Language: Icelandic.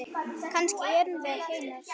Kannski erum við ekki einar.